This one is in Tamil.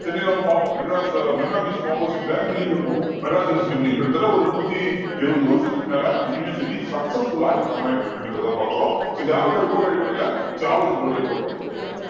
சென்னையை நம்ம பார்ப்போம் மெட்ராஸ் அஹ் மெரினா beach opposite ல building இருக்கும் மெட்ராஸ் university building கிட்டத்தட்ட ஒரு நூத்தி எழுபது வருஷத்துக்கு மேலஅந்த university successful ஆ இங்க run ஆயிட்டு இருக்குன்றத பாக்குறோம் so யாரோட report அடிப்படையில சார்லஸ் வுட்டோட report அடிப்படையில